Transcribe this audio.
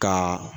Ka